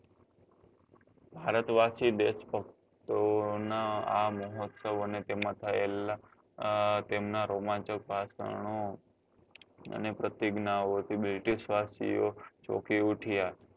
ભારતવાસી દેશભક્ત ઓ ના આ મોહત્સવ અને તેમાં થયેલા અ તેમના રોમાંચક ભાષણો અને પ્રતિજ્ઞા થી british ઓ ચોકી ઉઠ્યા